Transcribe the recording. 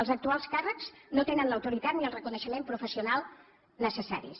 els actuals càrrecs no tenen l’autoritat ni el re coneixement professional necessaris